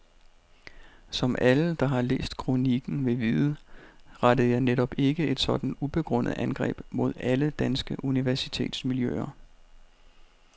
Som alle, der har læst kroniken vil vide, rettede jeg netop ikke et sådant ubegrundet angreb mod alle danske universitetsmiljøer.